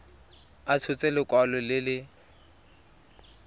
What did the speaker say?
a tshotse lekwalo le le